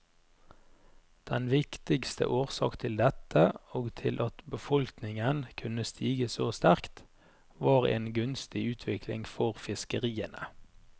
Den viktigste årsak til dette, og til at befolkninga kunne stige så sterkt, var ei gunstig utvikling for fiskeriene.